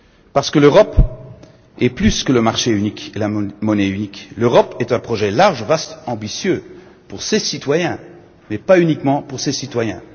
Parce que l'Europe, c'est plus que le marché unique et la monnaie unique, l'Europe, c'est un projet large, vaste et ambitieux pour ses citoyens, mais pas uniquement pour ses citoyens.